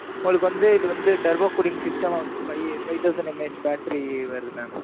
உங்களுக்கு வந்து, இது வந்து, turbo cooling system, five thousand MH factory வருது mam